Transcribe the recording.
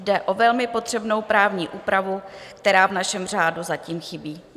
Jde o velmi potřebnou právní úpravu, která v našem řádu zatím chybí.